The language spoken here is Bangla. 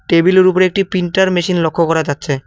টেবিলের উপর একটি প্রিন্টার মেশিন লক্ষ্য করা যাচ্ছে।